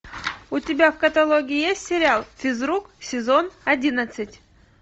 у тебя в каталоге есть сериал физрук сезон одиннадцать